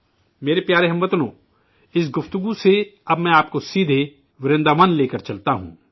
میرے پیارے ہم وطنو، اس تذکرے سے اب میں آپ کو سیدھے ورنداون لے کر چلتا ہوں